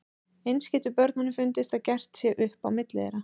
Eins getur börnunum fundist að gert sé upp á milli þeirra.